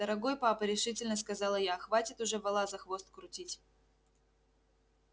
дорогой папа решительно сказала я хватит уже вола за хвост крутить